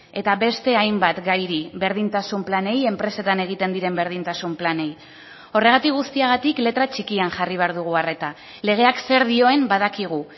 eta beste hainbat gairi berdintasun planei enpresetan egiten diren berdintasun planei horregatik guztiagatik letra txikian jarri behar dugu arreta legeak zer dioen badakigu